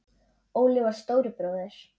Óli var stóri bróðir.